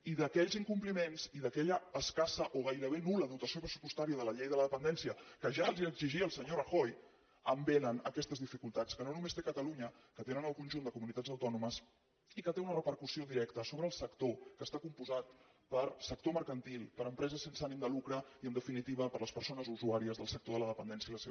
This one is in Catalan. i d’aquells incompliments i d’aquella escassa o gairebé nul·la dotació pressupostària de la llei de la dependència que ja els l’exigia el senyor rajoy en vénen aquestes dificultats que no només té catalunya que les tenen el conjunt de comunitats autònomes i que té una repercussió directa sobre el sector que està compost per sector mercantil per empreses sense ànim de lucre i en definitiva per les persones usuàries del sector de la dependència i les seves famílies